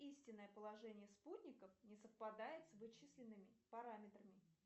истинное положение спутников не совпадает с вычисленными параметрами